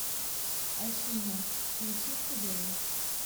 афина включи тудэй